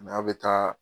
N'a bɛ taa